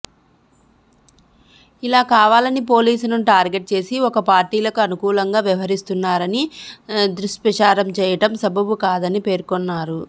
ఇలా కావాలని పోలీసులను టార్గెట్ చేసి ఒక పార్టీలకు అనుకూలంగా వ్యవహరిస్తున్నారని దుష్ప్రచారం చేయడం సబబు కాదని పేర్కొన్నారు